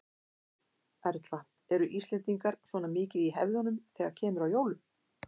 Erla: Eru Íslendingar svona mikið í hefðunum þegar kemur að jólum?